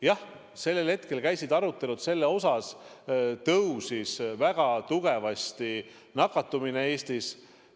Jah, sellel hetkel käisid arutelud, väga tugevasti nakatumine Eestis tõusis.